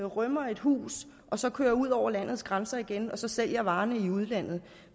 rømmer et hus og så kører ud over landets grænser igen og sælger varerne i udlandet